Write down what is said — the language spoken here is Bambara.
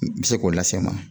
Bɛ se k'o lase n ma